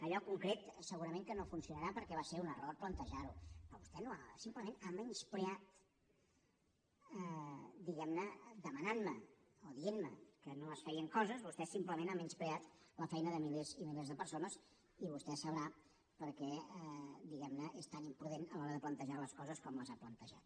allò concret segurament que no funcionarà perquè va ser un error plantejar ho però vostè va simplement a menysprear diguem ne demanant me o dient me que no es feien coses vostè simplement ha menyspreat la feina de milers i milers de persones i vostè sabrà per què és tan imprudent a l’hora de plantejar les coses com les ha plantejat